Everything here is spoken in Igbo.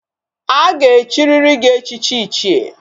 Aga echiriri gi echichi ichie